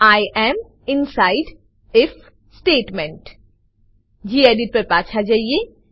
I am inside if statement gedit પર પાછા જઈએ